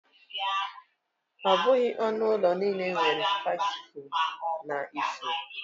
Ọ bụghị onu ulo niile nwere vasi ifuru na ifuru.